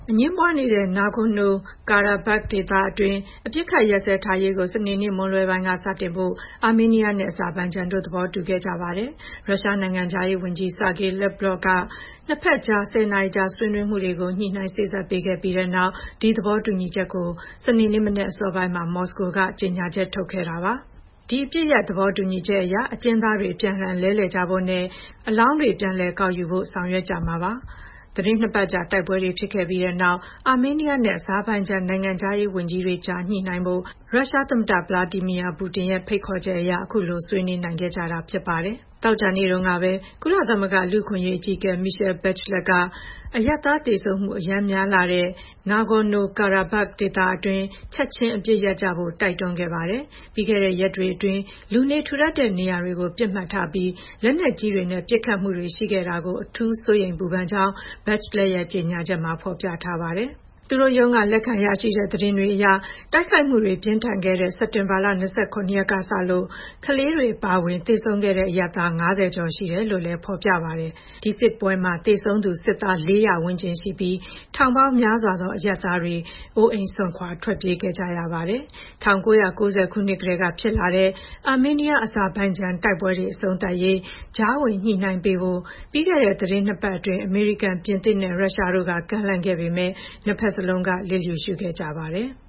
အငြင်းပွားနေတဲ့ Nagorno-Karabakh ဒေသတွင်း အပစ်အခတ်ရပ်စဲထားရေးကို စနေနေ့မွန်းလွဲပိုင်းက စတင်ဖို့ အာမေးနီးယားနဲ့ အဇာဘိုင်ဂျန်တို့ သဘောတူခဲ့ကြပါတယ်။ ရုရှားနိုင်ငံခြားရေးဝန်ကြီး Sergey Lavrov က နှစ်ဖက်ကြား ၁၀ နာရီကြာ ဆွေးနွေးမှုတွေကို ညှိနှိုင်းစေ့စပ်ပေးခဲ့ပြီးနောက် ဒီသဘောတူညီချက်ကို စနေနေ့အစောပိုင်းမှာ မော်စကိုကနေ ကြေညာချက် ထုတ်ခဲ့တာပါ။ ဒီ အပစ်ရပ်သဘောတူညီချက်အရ အကျဉ်းသားတွေ အပြန်အလှန် လဲလှယ်ကြဖို့နဲ့ သေဆုံးတဲ့အလောင်းတွေ ပြန်လည်ကောက်ယူဖို့ ဆောင်ရွက်ကြမှာ ဖြစ်ပါတယ်။ သီတင်းနှစ်ပတ်ကြာ တိုက်ပွဲတွေ ဖြစ်ခဲ့ကြပြီးတဲ့နောက် အာမေးနီးယားနဲ့ အဇာဘိုင်ဂျန် နိုင်ငံခြားရေးဝန်ကြီးတွေကြား ညှိနှိုင်းကြဖို့ ရုရှားသမ္မတ Vladimir Putin ရဲ့ ဖိတ်ခေါ်ချက်အရ အခုလို ဆွေးနွေးနိုင်ခဲ့ကြတာပါ။ သောကြာနေ့တုန်းကပဲ ကုလသမဂ္ဂ လူ့အခွင့်အရေး အကြီးအကဲ Michelle Bachelet က အရပ်သားသေဆုံးမှု အရမ်းများလှတဲ့ Nagorno-Karabakh ဒေသတွင်း “ချက်ချင်း အပစ်ရပ်” ကြဖို့ တိုက်တွန်းခဲ့တာပါ။ ပြီးခဲ့တဲ့ရက်တွေအတွင်း လူနေထူထပ်တဲ့ နေရာတွေကို ပစ်မှတ်ထားပြီး လက်နက်ကြီးတွေနဲ့ ပစ်ခတ်မှုတွေ ရှိခဲ့တာကို အထူးစိုးရိမ်ပူပန်ကြောင်း Bachelet ရဲ့ ကြေညာချက်မှာ ဖော်ပြထားပါတယ်။ သူတို့ရုံးက လက်ခံရရှိတဲ့ သတင်းတွေအရ တိုက်ခိုက်မှုတွေ ပြင်းထန်ခဲ့တဲ့ စက်တင်ဘာ ၂၇ ရက်ကစလို့ ကလေးတွေအပါအဝင် သေဆုံးခဲ့တဲ့ အရပ်သား ၅၀ ကျော်ရှိတယ်လို့လည်း ဖော်ပြထားပါတယ်။ ဒီစစ်ပွဲမှာ သေဆုံးသူ စစ်သား ၄၀၀ ဝန်းကျင်ရှိပြီး ထောင်ပေါင်းများစွာသော အရပ်သားတွေ အိုးအိမ်စွန့်ခွာ ထွက်ပြေးခဲ့ကြရပါတယ်။ ၁၉၉၀ ကတည်းက ဖြစ်လာတဲ့ အာမေးနီးယား-အဇာဘိုင်ဂျန် တိုက်ပွဲတွေ အဆုံးသတ်ရေး ကြားဝင်ညှိနှိုင်းပေးဖို့ ပြီးခဲ့တဲ့ သီတင်းနှစ်ပတ်အတွင်း အမေရိကန်၊ ပြင်သစ်နဲ့ ရုရှားတို့က ကမ်းလှမ်းခဲ့ပေမယ့် နှစ်ဖက်စလုံးက လျစ်လျူရှုခဲ့ကြပါတယ်။